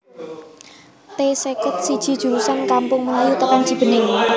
T seket siji jurusan Kampung Melayu tekan Cibening